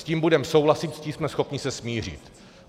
S tím budeme souhlasit, s tím jsme schopni se smířit.